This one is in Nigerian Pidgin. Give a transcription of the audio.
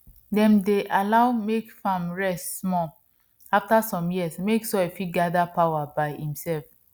dem dey allow mek farm rest small after some years make soil fit gather power by imself